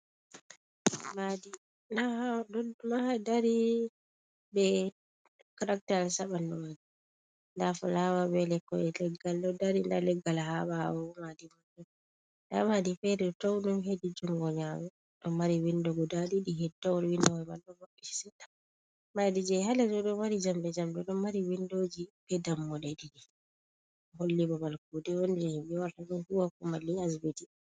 Maadi ma ɗo dari be caraktayis a ɓanndu may ndaa fulaawa be lekkoy leggal ɗo dari .Ndaa leggal haa ɓaawomaadi man, ɗon ndaa maadi feere towɗum hedi junngo nyaamo, ɗo mari winndooji guda ɗiɗi hedi laawol. Winndowa may ɗo mɓɓitii seɗɗa. Maadi jey haa les to ɗo mari njamɗe njamɗe, ɗo mari winndooji be dammuɗe ɗiɗi, holli babal kuuɗe on jey ɓe warata ɗon huuwa ko malla asbiti.